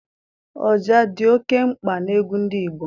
Ọja dị oké mkpa n'egwu ndị Igbo.